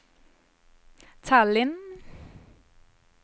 Tallinn